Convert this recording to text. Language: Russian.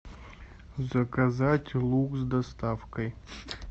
заказать лук с доставкой